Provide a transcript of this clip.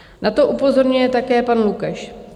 Na to upozorňuje také pan Lukeš.